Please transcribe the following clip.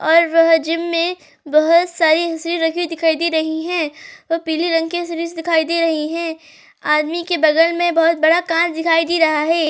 और वह जिम में बहोत सारी दिखाई दे रही हैं और पीले रंग की दिखाई दे रही हैं। आदमी के बगल में बहोत बड़ा कार दिखाई दे रहा है।